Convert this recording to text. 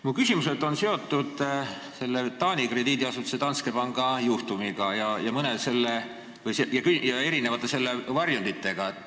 Mu küsimused on seotud Taani krediidiasutuse Danske Banki juhtumiga ja selle eri varjunditega.